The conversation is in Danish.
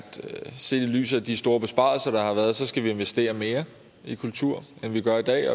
set i lyset af de store besparelser der har været skal investere mere i kultur end vi gør i dag